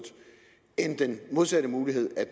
eller den modsatte mulighed at